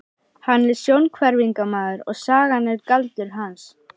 Hann er sjónhverfingamaður og sagan er galdur hans.